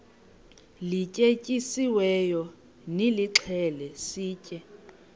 lityetyisiweyo nilixhele sitye